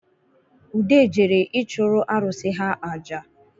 Ude jere ịchụrụ arụ̣sị̣ ha aja